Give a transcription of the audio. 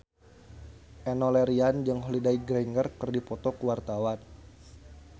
Enno Lerian jeung Holliday Grainger keur dipoto ku wartawan